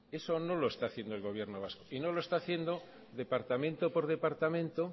eso no lo está haciendo el gobierno vasco y no lo está haciendo departamento por departamento